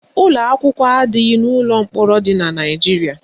Ụlọakwụkwọ adịghị n'ụlọ mkpọrọ dị na Naijiria